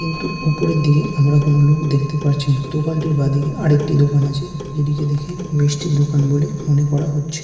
কিন্তু উপরের দিকে আমরা কোন লোক দেখতে পারছি না দোকানটির বাদিকে আরেকটি দোকান আছে যেদিকে দেখে মিষ্টির দোকান বলে মনে করা হচ্ছে।